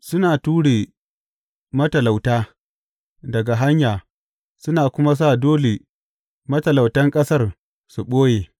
Suna ture matalauta daga hanya suna kuma sa dole matalautan ƙasar su ɓoye.